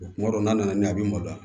Kuma dɔw n'a nana n'a ɲɛ a bi malo da